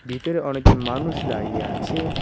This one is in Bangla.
ভিতরে অনেকজন মানুষ দাঁড়িয়ে আছে।